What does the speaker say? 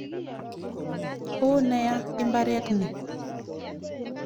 Oo nea imbaret ni.